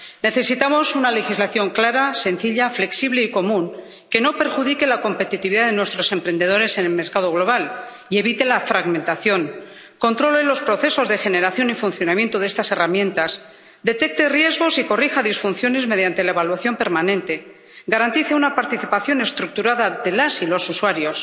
Necesitamos una legislación clara, sencilla, flexible y común que no perjudique la competitividad de nuestros emprendedores en el mercado global y evite la fragmentación, que controle los procesos de generación y funcionamiento de estas herramientas, detecte riesgos y corrija disfunciones mediante la evaluación permanente y que garantice una participación estructurada de las y los usuarios.